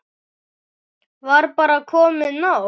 Var bara komið nóg?